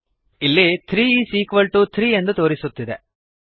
ಇಲ್ಲಿ three is equal to three ಎಂದು ತೋರಿಸುತ್ತಿದೆ